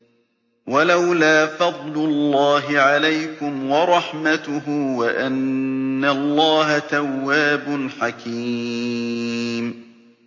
وَلَوْلَا فَضْلُ اللَّهِ عَلَيْكُمْ وَرَحْمَتُهُ وَأَنَّ اللَّهَ تَوَّابٌ حَكِيمٌ